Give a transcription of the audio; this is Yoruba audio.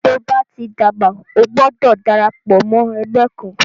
Tóo bá ti dàgbà, o gbọdọ̀ darapọ̀ mọ́ ẹgbẹ́ kan.